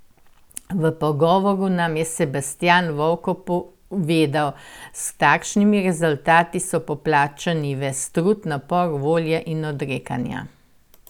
V pogovoru nam je Sebastjan Vovko povedal: "S takšnimi rezultati so poplačani ves trud, napor, volja in odrekanja.